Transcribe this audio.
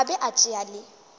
a be a tšea le